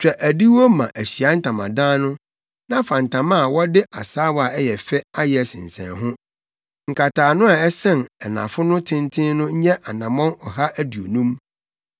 “Twa adiwo ma Ahyiae Ntamadan no na fa ntama a wɔde asaawa a ɛyɛ fɛ ayɛ sensɛn ho. Nkataano a ɛsɛn anafo no tenten no nyɛ anammɔn ɔha aduonum